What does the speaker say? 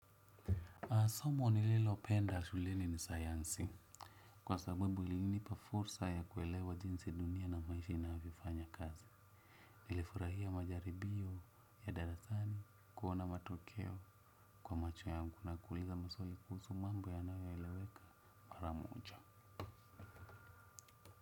Somo nililopenda shuleni ni sayansi. Kwa sababu ilinipa fursa ya kuelewa jinsi dunia inavyo ishi na hufanya kazi. Nilifurahia majaribio ya darasani kuona matokeo kwa macho yangu na kuuliza maswali kuhusu mambo yanayo eleweka maramoja.